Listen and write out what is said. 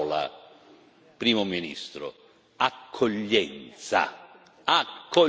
Manca una parola, Primo Ministro accoglienza.